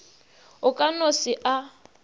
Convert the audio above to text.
o ka no se a